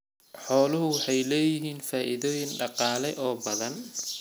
Xooluhu waxay leeyihiin faa'iidooyin dhaqaale oo badan.